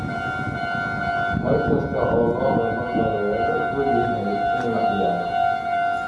Mar kasta oo lo'da la qalo waa la ogol yahay in la ciyaaro.